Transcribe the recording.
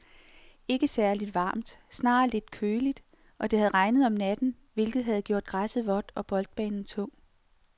Ikke særligt varmt, snarere lidt køligt, og det havde regnet om natten, hvilket havde gjort græsset vådt og boldbanen tung.